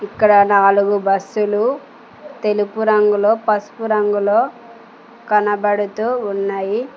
ఇక్కడ నాలుగు బస్సులు తెలుపు రంగులో పసుపు రంగులో కనబడుతూ ఉన్నాయి.